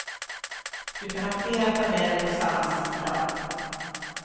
Du kan ha flera tabeller på samma sida.